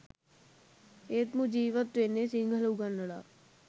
එත් මු ජීවත් වෙන්නේ සිංහල උගන්නලා